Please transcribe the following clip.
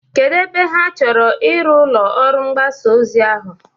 Kedu ebe ha chọrọ iru ụlọ ọrụ mgbasa ozi ahụ?